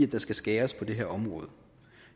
der skal skæres på det her område